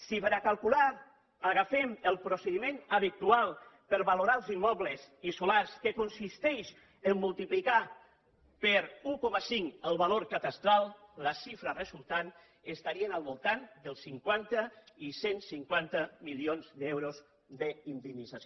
si per a calcular agafem el procediment habitual per a valorar els immobles i solars que consisteix a multiplicar per un coma cinc el valor cadastral la xifra resultant estaria al voltant dels cinquanta i cent i cinquanta milions d’euros d’indemnització